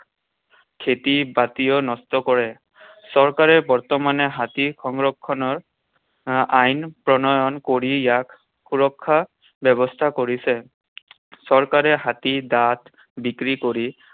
খেতি বাতিও নষ্ট কৰে। চৰকাৰে বৰ্তমানে হাতী সংৰক্ষণৰ আইন প্ৰণয়ন কৰি ইয়াক সুৰক্ষাৰ ব্যৱস্থা কৰিছে। চৰকাৰে হাতীৰ দাঁত বিক্ৰী কৰি